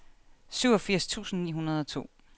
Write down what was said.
syvogfirs tusind ni hundrede og to